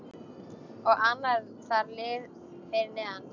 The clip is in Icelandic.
Og annar þar fyrir neðan.